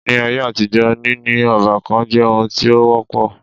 Ní áyé àtijọ́ níní ọ́bàkan jẹ́ oun tí o wọ́pọ̀.